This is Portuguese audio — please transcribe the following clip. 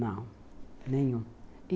Não, nenhum.